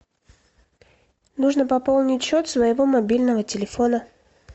нужно пополнить счет своего мобильного телефона